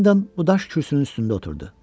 Hendon bu daş kürsünün üstündə oturdu.